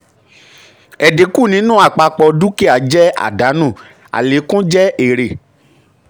ẹ̀dínkù nínú àpapọ̀ nínú àpapọ̀ dúkìá jẹ́ àdánù; àlékún jẹ́ èrè.